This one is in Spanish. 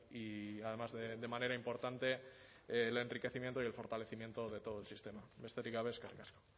y además de manera importante el enriquecimiento y el fortalecimiento de todo el sistema besterik gabe eskerrik asko